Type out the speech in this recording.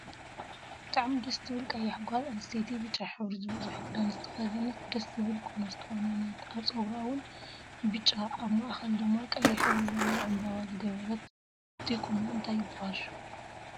ብጣዕሚ ደስ ትብል ቀያሕ ጋል ኣንስትየቲ ብጫ ሕብሪ ዝበዘሖ ክዳን ዝተከደነት ደስ ዝብል ቁኖ ዝተቆነነት ኣብ ፀጉራ እውን ብጫኣብ ማእከላ ድማ ቀይሕ ሕብሪ ዘለዎ ዕንበባ ዝገበረት እቱይ ቁኖ እንታይ ይብሃል ሽሙ?